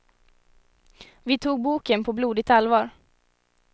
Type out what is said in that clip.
Vi tog boken på blodigt allvar.